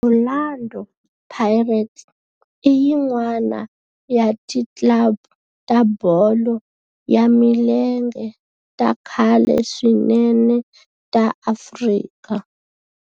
Orlando Pirates i yin'wana ya ti club ta bolo ya milenge ta khale swinene ta Afrika